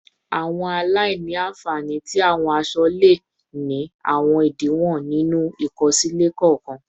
Awọn aila-nfani ti awọn aṣọ le ni awọn idiwọn ninu ikosile kọọkan